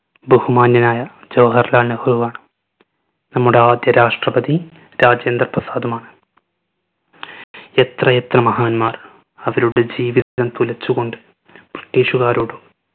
ബഹുമാന്യനായ ജവാഹർലാൽ നെഹ്‌റു ആണ്. നമ്മുടെ ആദ്യ രാഷ്ട്രപതി രാജേന്ദ്ര പ്രസാദുമാണ്. എത്രയെത്ര മഹാന്മാർ അവരുടെ ജീവിതം തുലച്ചുകൊണ്ട് british കാരോടും